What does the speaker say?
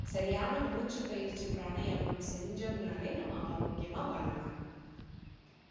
சரியான மூச்சி பயிற்சி பிராணயாமம் செஞ்சோம்னாலே நம்ம ஆரோக்கியமா வாழலாம்